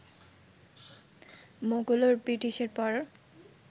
মোগল ও ব্রিটিশের পর